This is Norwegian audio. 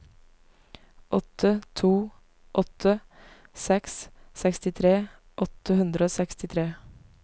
åtte to åtte seks sekstitre åtte hundre og sekstitre